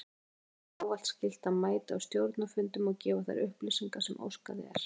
Framkvæmdastjóra er ávallt skylt að mæta á stjórnarfundum og gefa þær upplýsingar sem óskað er.